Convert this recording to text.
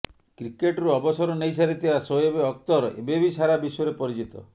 କ୍ରିକେଟରୁ ଅବସର ନେଇସାରିଥିବା ଶୋଏବ ଅଖତର ଏବେ ବି ସାରା ବିଶ୍ୱରେ ପରିଚିତ